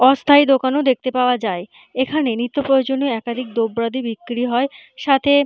অস্থায়ী দোকান ও দেখতে পাওয়া যায় এখানে নিত্য প্রয়োজনীয় একাধিক দ্রব্যাদি বিক্রি হয় সাথে--